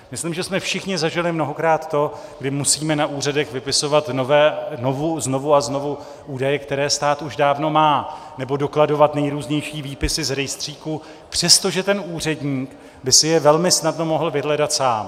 Myslím, že jsme všichni zažili mnohokrát to, kdy musíme na úřadech vypisovat znovu a znovu údaje, které stát už dávno má, nebo dokladovat nejrůznější výpisy z rejstříků, přestože ten úředník by si je velmi snadno mohl vyhledat sám.